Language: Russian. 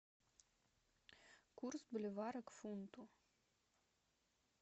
курс боливара к фунту